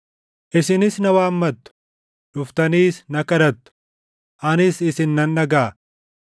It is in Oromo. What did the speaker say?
“Isinis na waammattu; dhuftaniis na kadhattu; anis isin nan dhagaʼa.